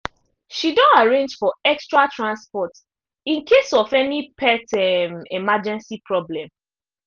she don arrange for extra transport in case of any pet um emergency problem